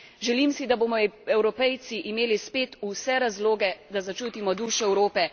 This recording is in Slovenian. Želim si, da bomo Evropejci imeli spet vse razloge, da začutimo dušo Evrope.